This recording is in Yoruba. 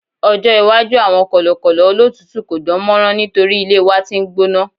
ọjọ iwaju awọn kọlọkọlọ olotutu ko dánmọrán nitori ilé wan t'in n gbóná